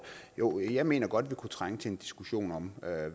jo jeg mener godt vi kunne trænge til en diskussion om at